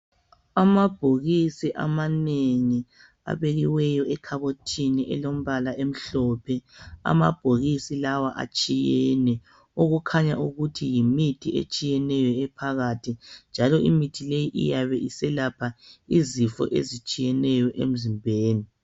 Amabhokisi amanengi abekiweyo ekhabothini elombala emhlophe. Amabhokisi lawa atshiyene okukhanya ukuthi yimithi etshiyeneyo ephakathi njalo imithi leyi iyabe iselapha izifo ezitshiyeneyo emzimbeni.